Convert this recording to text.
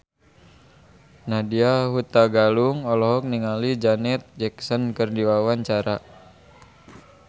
Nadya Hutagalung olohok ningali Janet Jackson keur diwawancara